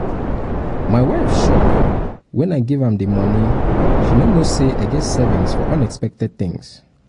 my wife shock wen i give am the money she no know say i get savings for unexpected things